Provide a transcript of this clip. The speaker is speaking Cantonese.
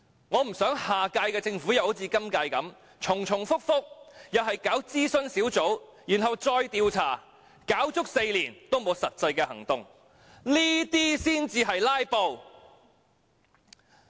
我不想下屆政府又好像今屆般，重重複複，又是搞諮詢小組，然後再調查，搞足4年也沒有實際行動，這些才是"拉布"。